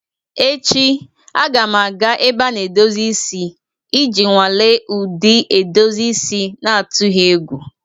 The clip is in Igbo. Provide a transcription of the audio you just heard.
Echi, a ga m aga ebe a na-edozi isi iji nwalee ụdị edozi isi n'atụghị egwu.